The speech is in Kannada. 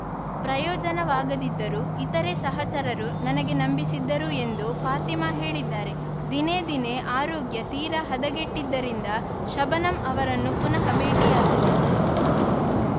ಪ್ರಯೋಜನವಾಗದಿದ್ದರೂ ಇತರೆ ಸಹಚರರು ನನಗೆ ನಂಬಿಸಿದ್ದರು ಎಂದು ಫಾತಿಮಾ ಹೇಳಿದ್ದಾರೆ ದಿನೇ ದಿನೇ ಆರೋಗ್ಯ ತೀರಾ ಹದಗೆಟ್ಟಿದ್ದರಿಂದ ಶಬನಮ್‌ ಅವರನ್ನು ಪುನಃ ಭೇಟಿಯಾಗಿದೆ